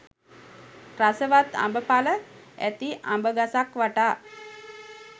රසවත් අඹ ඵල ඇති අඹ ගසක් වටා